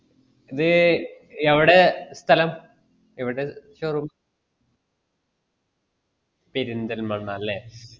ഇത്‌ എവടെ സ്ഥലം എവടെ showroom പെരുന്തൽമണ്ണാലേ